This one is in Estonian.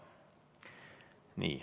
Nii.